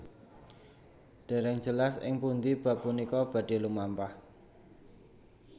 Dèrèng jelas ing pundhi bab punika badhé lumampah